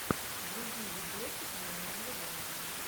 вруби видосик в манере драма